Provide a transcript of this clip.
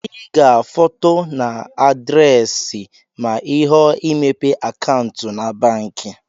ị ga-foto na adresi ma ịhọọ imepe akantụ na banki